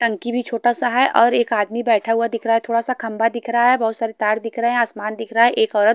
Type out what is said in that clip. टंकी भी छोटा सा है और एक आदमी बैठा हुआ दिख रहा है थोड़ा सा खंबा दिख रहा है बहुत सारे तार दिख रहे हैं आसमान दिख रहा है एक औरत --